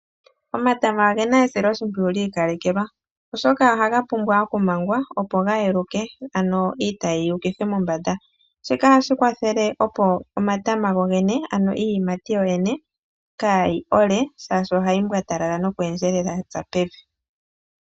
Omatama ogena esiloshimpwiyu lyi ikalekelwa. Oshoka ohaga pumbwa okumangwa opo ga yeluke ano iitayi yi ukithwe mombanda, shika ohashi kwathele opo omatama gogene ano iiyimati yoyene kaayi ole shaashi ohayi mbwatalala noku endjelela yatsa pevi.